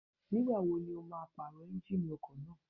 Ní ìgbà wo ni o máa pàrọ̀ Ẹ́njíníì ọkọ̀ náà?